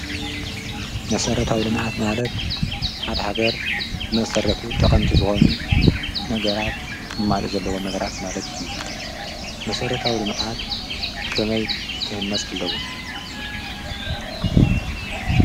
መሰረታዊ ልምዓት ማለት ንሓደ ሃገር ብመሰረቱ ጠቐምቲ ዝኾኑ ነገራት ክማልኡ ዘለዎ ነገራት ማለት እዩ። መሰረታዊ ልምዓት ከመይ ክህነፁ ኣለዎም?